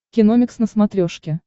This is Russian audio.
киномикс на смотрешке